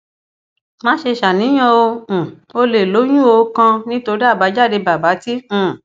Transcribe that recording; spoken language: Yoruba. má ṣe ṣàníyàno um ò lè lóyúnó kàn nítorí àbájáde bàbà t um